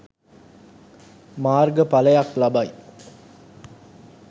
මාර්ග පලයක් ලබයි